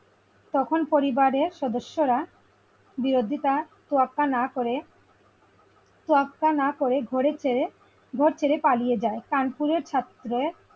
তখন পরিবারের সদস্যরা বিরোধিতার তোয়াক্কা না করে তোয়াক্কা না করে ঘোরে ফেরে ঘর ছেড়ে পালিয়ে যায় কানপুরের ছাত্রের,